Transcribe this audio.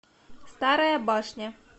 старая башня